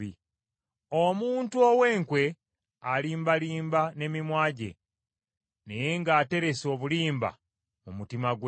Omuntu ow’enkwe alimbalimba n’emimwa gye naye ng’aterese obulimba mu mutima gwe.